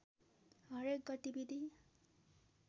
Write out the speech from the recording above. हरेक गतिविधि